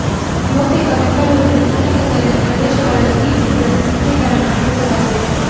ಬಹುತೇಕ ಬೆಂಗಳೂರಿನ ಸುತ್ತ ಮುತ್ತಲಿನ ಪ್ರದೇಶಗಳಲ್ಲಿ ಈ ಚಿತ್ರದ ಚಿತ್ರೀಕರಣ ನಡೆಸಲಾಗಿದೆ